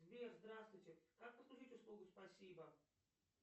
сбер здравствуйте как подключить услугу спасибо